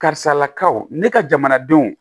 Karisalakaw ne ka jamanadenw